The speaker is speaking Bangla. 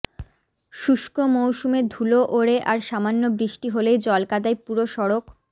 শুষ্ক মৌসুমে ধুলো ওড়ে আর সামান্য বৃষ্টি হলেই জলকাদায় পুরো সড়ক